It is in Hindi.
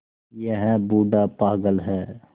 यह बूढ़ा पागल है